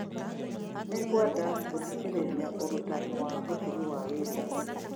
Nĩngwenda gũthikĩrĩria ũrutani wa ũtugi wa Williams